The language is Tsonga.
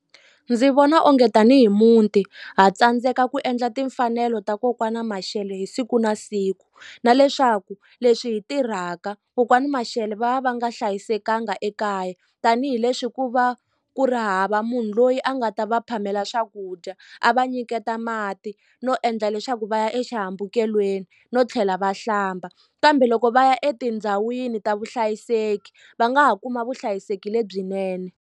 Ndzi vona onge tanihi muti ha tsandzeka ku endla timfanelo ta kokwani Mashele hi siku na siku na leswaku leswi hi tirhaka kokwani Mashele va va va nga hlayisekanga ekaya tanihileswi ku va ku ri hava munhu loyi a nga ta va phamela swakudya a va nyiketa mati no endla leswaku va ya exihambukelweni no tlhela va hlamba kambe loko va ya etindhawini ta vuhlayiseki va nga ha kuma vuhlayiseki lebyinene.